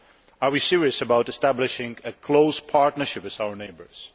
Are we serious about establishing a close partnership with our neighbours?